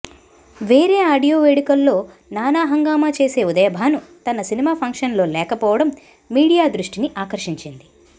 వేరే ఆడియోల వేడుకల్లో నానా హంగామా చేసే ఉదయభాను తన సినిమా ఫంక్షన్లో లేకపోవడం మీడియా దృష్టిని ఆకర్షించింది